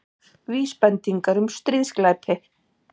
Vísbendingar um stríðsglæpi